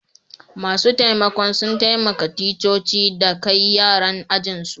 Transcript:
Masun taimakon sun taimaka ticcoci da kai yaran ajin su.